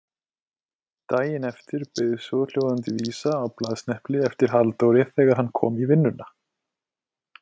Daginn eftir beið svohljóðandi vísa á blaðsnepli eftir Halldóri þegar hann kom í vinnuna